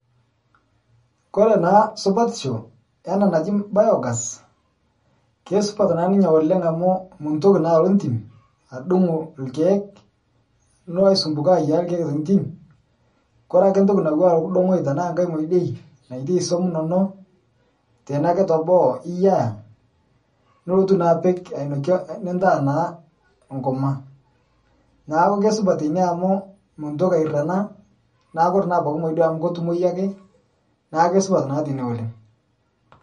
Kore naa supatisho ena naji biogas, kesupat naa ninye oleng' amu mintoki naalo entim adung' ilkeek nilo aisumbuka ayiaaya ilkeek tentim. Kore ake ntoki napuo aaku eidong'oki tanaa ngai modioi naitai suam inono tene ake teboo iyiaya nilotu naapik ainokie nintaa naa enkurma. Neaku keisupat ina amu mintoki airrenaa naaku kore naabaki modioi amu ketumoyu ake naake supat naadei oleng'.